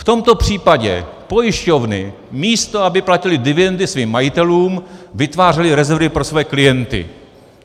V tomto případě pojišťovny místo aby platily dividendy svým majitelům, vytvářely rezervy pro své klienty.